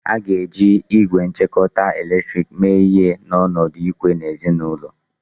A ga-eji igwe ngwakọta eletrik mee ihe n'ọnọdụ ikwe n'ọdịnihu.